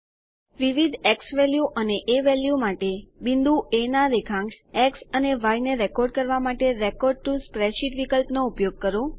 વિવિધ ઝવેલ્યુ અને એ વેલ્યુ માટે બિંદુ એ ના રેખાંશ એક્સ અને ય ને રેકોર્ડ કરવા માટે રેકોર્ડ ટીઓ સ્પ્રેડશીટ વિકલ્પનો ઉપયોગ કરો